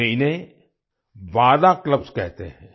वे इन्हें वादा वादा क्लब्स कहते हैं